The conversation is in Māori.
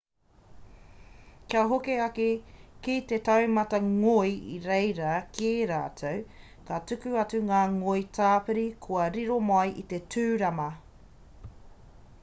kia hoki ake ki te taumata ngoi i reira kē rātou me tuku atu ngā ngoi tāpiri kua riro mai i te tūrama